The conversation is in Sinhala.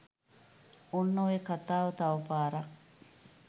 ඔන්න ඔය කතාව තවපාරක්